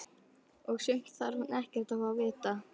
Og sumt þarf hún ekkert að fá að vita.